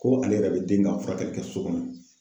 Ko ale yɛrɛ be den ka furakɛli kɛ so kɔnɔ.